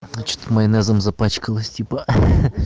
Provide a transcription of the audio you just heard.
значит майонезом запачкалась типа